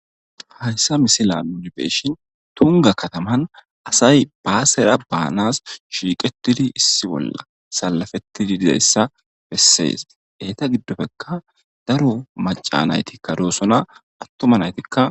Haysa misilan be'ishn Tunga kataman asay basera banas ahiqetid issi bolla salafetid de'iyaysa beses. Eti gidoppeka daro macanatika dosona atuma natika dosona.